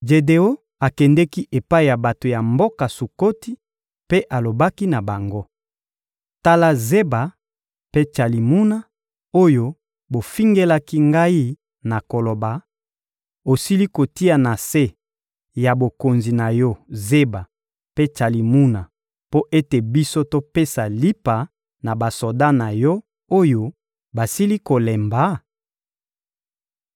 Jedeon akendeki epai ya bato ya mboka Sukoti mpe alobaki na bango: «Tala Zeba mpe Tsalimuna oyo bofingelaki ngai na koloba: ‹Osili kotia na se ya bokonzi na yo Zeba mpe Tsalumuna mpo ete biso topesa lipa na basoda na yo, oyo basili kolemba?›»